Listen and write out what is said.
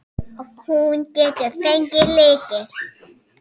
Hún getur fengið lykil.